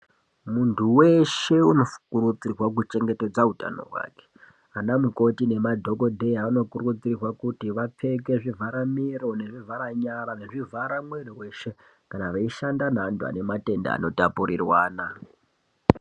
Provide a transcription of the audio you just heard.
Muntu weshe unokurudzirwa kuchengetedza utano hwake. Anamukoti nemadhogodheya anokurudzirwa kuti vapfeke zvivhara miro nezvivhara nyara nezvivharamwiriweshe kana veishanda nevantu vane matenda anotapuriranwa.